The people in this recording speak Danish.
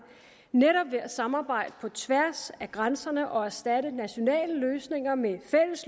netop ved at samarbejde på tværs af grænserne og erstatte nationale løsninger med